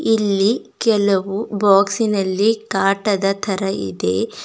ಇಲ್ಲಿ ಕೆಲವು ಬಾಕ್ಸಿನಲ್ಲಿ ಕಾಟದ ತರ ಇದೆ.